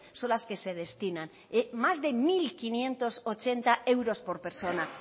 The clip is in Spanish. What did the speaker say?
son las que se destinan más de mil quinientos ochenta euros por persona